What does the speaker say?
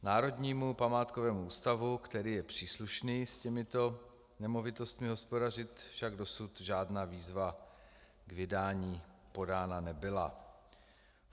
Národnímu památkovému ústavu, který je příslušný s těmito nemovitostmi hospodařit, však dosud žádná výzva k vydání podána nebyla.